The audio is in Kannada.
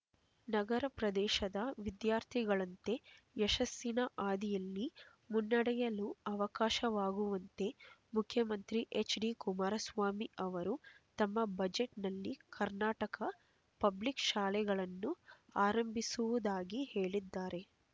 ನಗರ ಪ್ರದೇಶದ ವಿದ್ಯಾರ್ಥಿಗಳಂತೆ ಯಶಸ್ಸಿನ ಹಾದಿಯಲ್ಲಿ ಮುನ್ನಡೆಯಲು ಅವಕಾಶವಾಗುವಂತೆ ಮುಖ್ಯಮಂತ್ರಿ ಹೆಚ್ಡಿ ಕುಮಾರಸ್ವಾಮಿ ಅವರು ತಮ್ಮ ಬಜೆಟ್‌ನಲ್ಲಿ ಕರ್ನಾಟಕ ಪಬ್ಲಿಕ್ ಶಾಲೆಗಳನ್ನು ಆರಂಭಿಸುವುದಾಗಿ ಹೇಳಿದ್ದಾರೆ